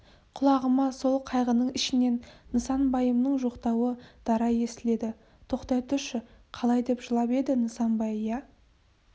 құлағыма сол қайғының ішінен нысанбайымның жоқтауы дара естіледі тоқтай тұршы қалай деп жылап еді нысанбай иә